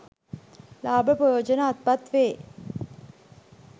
ලාභ ප්‍රයෝජන අත්පත් වේ.